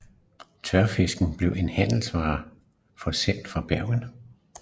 Tørfisken bliver som handelsvare forsendt fra Bergen